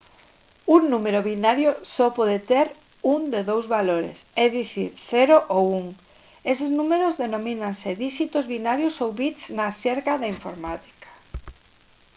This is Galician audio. un número binario só pode ter un de dous valores é dicir 0 ou 1 eses números denomínanse díxitos binarios ou bits na xerga da informática